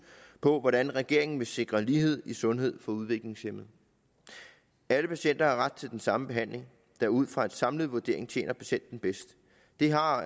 på hvordan regeringen vil sikre lighed i sundhed for udviklingshæmmede alle patienter har ret til den samme behandling der ud fra en samlet vurdering tjener patienten bedst det har